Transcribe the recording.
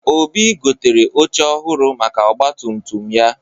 Obi gotere oche ọhụrụ maka ọgbatumtum ya.